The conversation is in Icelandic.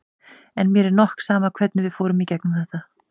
En mér er nokk sama hvernig við fórum í gegnum þetta.